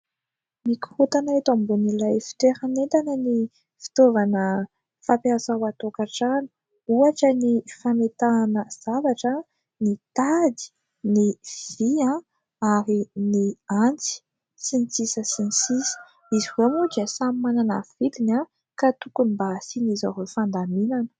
Mikorontana eto ambonin'ilay fitoeran'entana ny fitaovana fampiasa ao an-tokantrano ; ohatra ny fametahana zavatra, ny tady, ny vy ary ny antsy, sy ny sisa sy ny sisa. Izy ireo moa dia samy manana ny vidiny ka tokony mba hasian'izy ireo fandaminana.